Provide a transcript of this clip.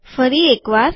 ફરી એક વાર